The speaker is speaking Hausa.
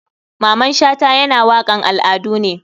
Maman shata yana wakan al adu ne.